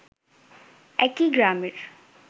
একই গ্রামের